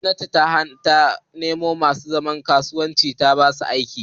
Ma'aikatar gwamnati ta nemo masu zaman kansu ta basu aikin tattara bayanai